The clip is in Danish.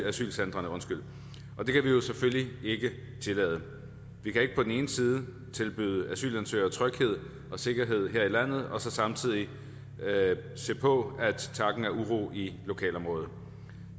asylcentrene og det kan vi selvfølgelig ikke tillade vi kan ikke på den ene side tilbyde asylansøgere tryghed og sikkerhed her i landet og så samtidig se på at takken er uro i lokalområdet